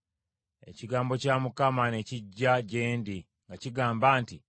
Ekigambo kya Mukama ne kijja gye ndi nga kigamba nti,